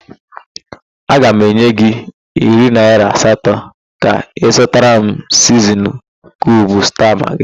Aga m enye gị iri naỊra asatọ ka ịzụtara m siznin kiub sta magị.